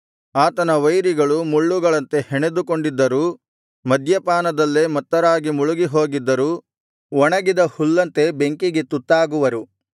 ಆತನ ವೈರಿಗಳು ಮುಳ್ಳುಗಳಂತೆ ಹೆಣೆದುಕೊಂಡಿದ್ದರೂ ಮಧ್ಯಪಾನದಲ್ಲೇ ಮತ್ತರಾಗಿ ಮುಳುಗಿಹೋಗಿದ್ದರೂ ಒಣಗಿದ ಹುಲ್ಲಂತೆ ಬೆಂಕಿಗೆ ತುತ್ತಾಗುವರು